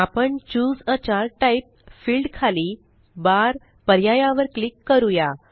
आपण चूसे आ चार्ट टाइप फील्ड खाली बार पर्याया वर क्लिक करूया